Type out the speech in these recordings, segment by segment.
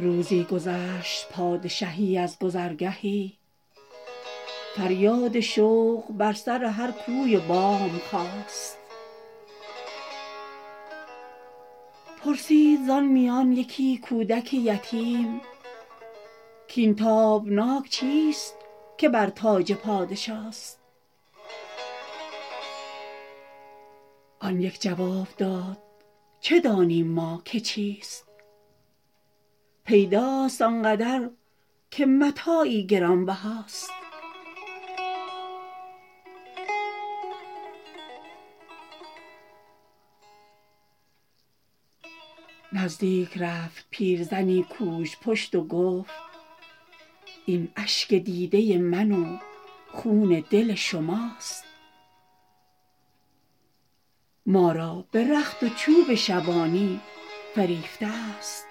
روزی گذشت پادشهی از گذرگهی فریاد شوق بر سر هر کوی و بام خاست پرسید زان میانه یکی کودک یتیم کاین تابناک چیست که بر تاج پادشاست آن یک جواب داد چه دانیم ما که چیست پیداست آنقدر که متاعی گرانبهاست نزدیک رفت پیرزنی گوژپشت و گفت این اشک دیده من و خون دل شماست ما را به رخت و چوب شبانی فریفته است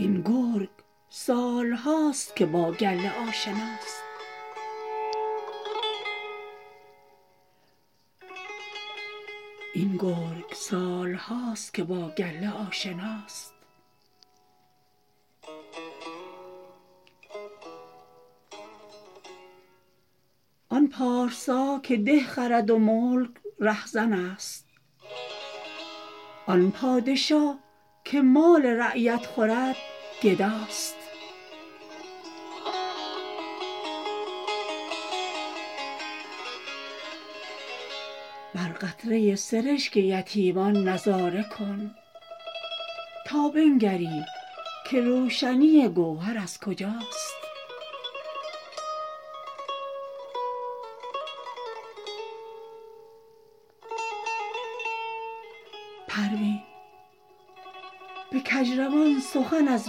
این گرگ سال هاست که با گله آشناست آن پارسا که ده خرد و ملک رهزن است آن پادشا که مال رعیت خورد گداست بر قطره سرشک یتیمان نظاره کن تا بنگری که روشنی گوهر از کجاست پروین به کجروان سخن از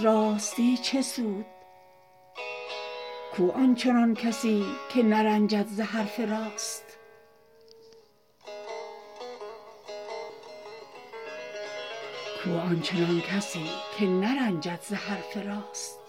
راستی چه سود کو آنچنان کسی که نرنجد ز حرف راست